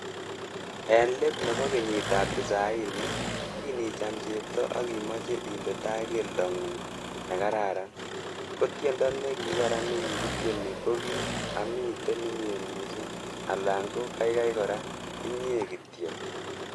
En let nebo kenyitab tisaini, kin icham cheptoo ak imoche inde taa keldongung nekararan, ko tiendo nekikaran nekikityeni koki"Amiten inye missing '' alan ko kaikai kora 'Inye kityok".